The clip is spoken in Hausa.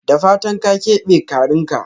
Da fatan ka kebe karinka?